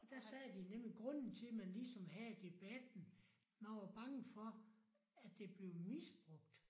Og der sagde de nemlig grunden til man ligesom havde debatten man var bange for at det blev misbrugt